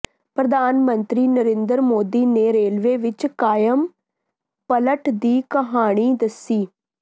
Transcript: ਪ੍ਰਧਾਨ ਮੰਤਰੀ ਨਰਿੰਦਰ ਮੋਦੀ ਨੇ ਰੇਲਵੇ ਵਿੱਚ ਕਾਇਆ ਪਲਟ ਦੀ ਕਹਾਣੀ ਦੱਸੀ